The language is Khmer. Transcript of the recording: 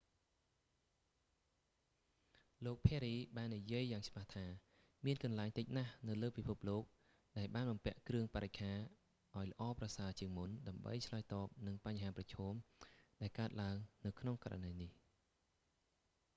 លោក perry ភារី បាននិយាយយ៉ាងច្បាស់ថា មានកន្លែងតិចណាស់នៅលើពិភពលោកដែលបានបំពាក់គ្រឿងបរិក្ខារឱ្យល្អប្រសើរជាងមុន ដើម្បីឆ្លើយតបនឹងបញ្ហាប្រឈម ដែលកើតឡើងនៅក្នុងករណីនេះ